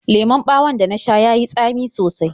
Lemon ɓawon da na sha ya yi tsami sosai.